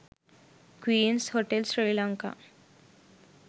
queens hotel sri lanka